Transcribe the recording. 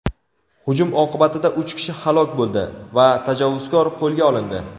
Hujum oqibatida uch kishi halok bo‘ldi va tajovuzkor qo‘lga olindi.